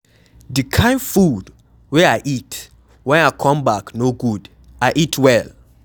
The kin food wey I eat wen I come back no good. I eat well